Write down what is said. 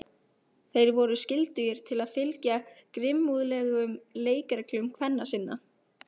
Þeir voru skyldugir til að fylgja grimmúðlegum leikreglum kvenna sinna.